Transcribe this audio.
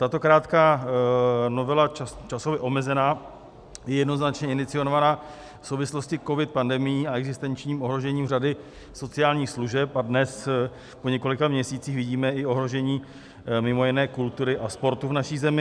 Tato krátká novela, časově omezená, je jednoznačně iniciovaná v souvislosti s covid pandemií a existenčním ohrožením řady sociálních služeb a dnes, po několika měsících, vidíme i ohrožení mimo jiné kultury a sportu v naší zemi.